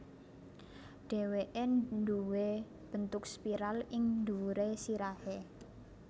Dhèwèké nduwé bentuk spiral ing dhuwuré sirahé